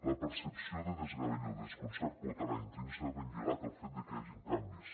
la percepció de desgavell o desconcert pot anar intrínsecament lligat al fet de que hi hagin canvis